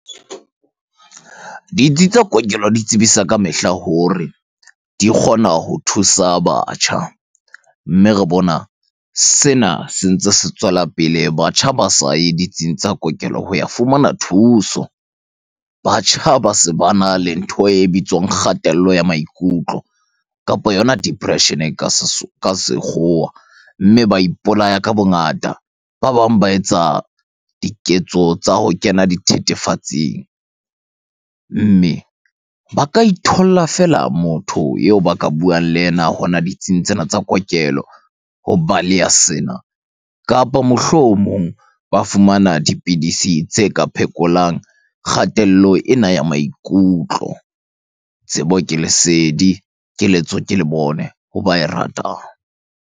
Ditsi tsa kokelo di tsebisa ka mehla hore di kgona ho thusa batjha. Mme re bona sena sentse se tswela pele, batjha ba saye ditsing tsa kokelo ho ya fumana thuso. Batjha ba se bana le ntho e bitswang kgatello ya maikutlo, kapo yona depression ka sekgowa mme ba ipolaya ka bongata. Ba bang ba etsa diketso tsa ho kena dithethefatsing. Mme ba ka itholla fela motho eo ba ka buang le yena hona ditsing tsena tsa kokelo ho baleha sena. Kapa mohlomong ba fumana dipidisi tse ka phekolang kgatello ena ya maikutlo. Tsebo ke lesedi, keletso ke lebone ho ba e ratang.